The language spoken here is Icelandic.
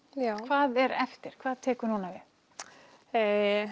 hvað er eftir hvað tekur núna við